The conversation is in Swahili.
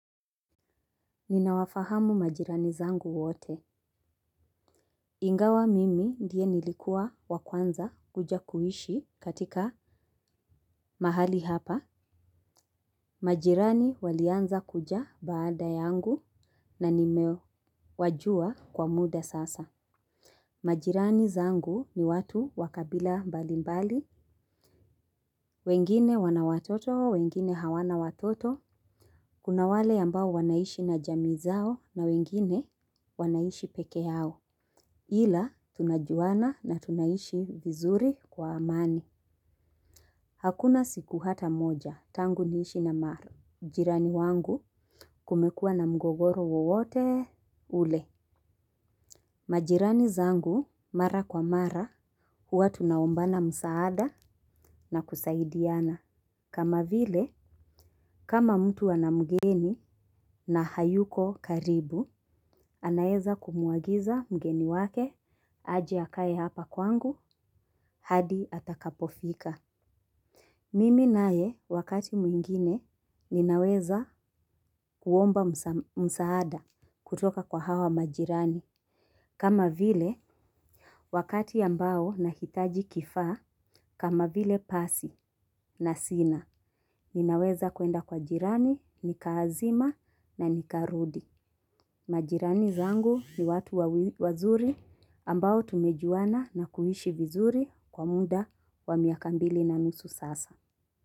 Ninawafahamu majirani zangu wote. Ingawa mimi ndiye nilikua wa kwanza kuja kuishi katika mahali hapa. Majirani walianza kuja baada yangu na nimewajua kwa muda sasa. Majirani zangu ni watu wa kabila mbalimbali. Wengine wana watoto, wengine hawana watoto. Kuna wale ambao wanaishi na jamii zao na wengine wanaishi peke yao. Ila, tunajuana na tunaishi vizuri kwa amani. Hakuna siku hata moja, tangu niishi na maru. Mjirani wangu kumekua na mgogoro wowote ule. Majirani zangu mara kwa mara, huwa tunaombana msaada na kusaidiana. Kama vile, kama mtu ana mgeni na hayuko karibu, anaeza kumuagiza mgeni wake, aje akaye hapa kwangu, hadi atakapofika. Mimi naye, wakati mwingine, ninaweza kuomba msaada kutoka kwa hawa majirani. Kama vile, wakati ambao nahitaji kifaa, kama vile pasi na sina, ninaweza kuenda kwa jirani, nikaazima na nikaarudi. Majirani zangu ni watu wazuri ambao tumejuana na kuishi vizuri kwa muda wa miaka mbili na nusu sasa.